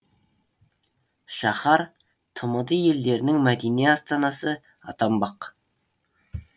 шаһар тмд елдерінің мәдени астанасы атанбақ